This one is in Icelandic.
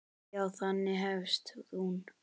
Já, þannig hefst hún.